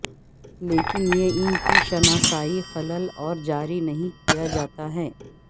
لیکن یہ ان کی شناسائی خلل اور جاری نہیں کیا جاتا ہے